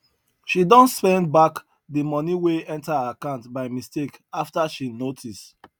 she don send back the money wey enter her account by mistake after she notice